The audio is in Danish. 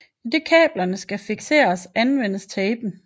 Idet kablerne skal fikseres anvendes tapen